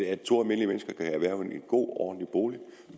at to almindelige mennesker kan erhverve en god ordentlig bolig